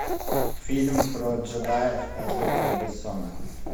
фильм про джедаев от люка бессона